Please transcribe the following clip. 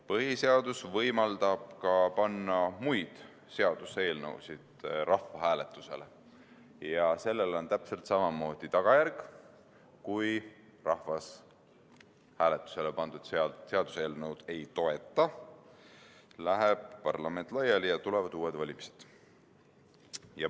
Põhiseadus võimaldab panna rahvahääletusele ka muid seaduseelnõusid ja sellel on täpselt samamoodi tagajärg: kui rahvas hääletusele pandud seaduseelnõu ei toeta, läheb parlament laiali ja tulevad uued valimised.